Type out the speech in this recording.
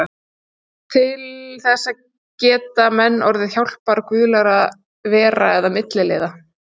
Til þess geta menn notið hjálpar guðlegra vera eða milliliða.